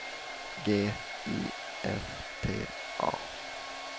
G I F T A